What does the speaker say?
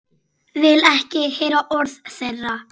Vil ekki heyra orð þeirra.